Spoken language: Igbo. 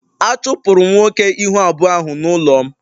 A chụpụrụ m nwoke ihu abụọ ahụ n'ụlọ m